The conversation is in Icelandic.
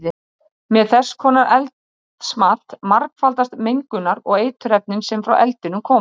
Með þess konar eldsmat margfaldast mengunar- og eiturefnin sem frá eldinum koma.